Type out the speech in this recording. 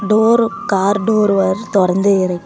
Door car door வர் தொறந்தே இருக்கு.